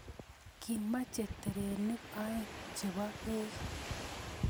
Kimache terenik oeng' chepo peek